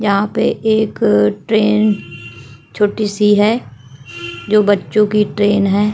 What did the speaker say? यहाँ पे एक ट्रैन छोटी सी है जो बच्चों की ट्रैन है।